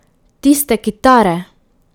Tiste kitare!